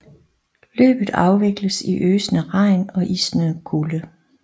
Løbet afvikles i øsende regn og isnende kulde